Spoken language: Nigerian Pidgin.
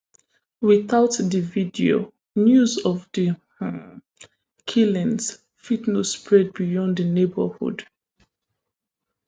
witout di video news of di um killings fit no spread beyond di neighbourhood